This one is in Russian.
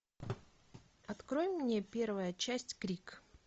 открой мне первая часть крик